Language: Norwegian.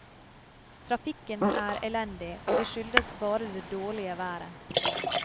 Trafikken er elendig, og det skyldes bare det dårlige været.